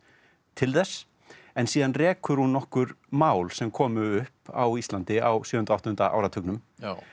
til þess en síðan rekur hún nokkur mál sem komu upp á Íslandi á sjöunda og áttunda áratugnum